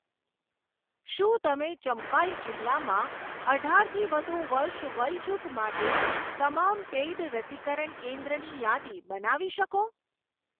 શું તમે ચમ્ફાઇ જિલ્લામાં અઢારથી વધુ વર્ષ વયજૂથ માટે તમામ પેઈડ રસીકરણ કેન્દ્રની યાદી બનાવી શકો?